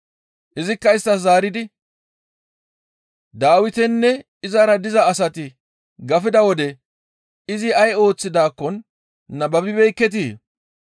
Izikka isttas zaaridi, «Dawitinne izara diza asati gafida wode izi ay ooththidaakkon nababibeekketii?